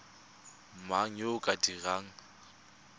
mang yo o ka dirang